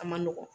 A man nɔgɔn